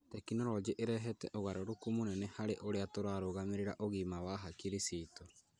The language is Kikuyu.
Tekinoronjĩ ĩrehete ũgarũrũku mũnene harĩ ũrĩa tũrarũgamĩrĩra ũgima wa hakiri ciitu.